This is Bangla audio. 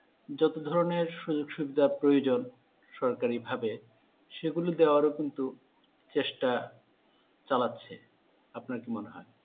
যত ধরনের সুযোগ সুবিধা প্রয়োজন সরকারি ভাবে সেগুলো দেওয়ার কিন্তু চেষ্টা চালাচ্ছে ৷ আপনার কী মনে হয়?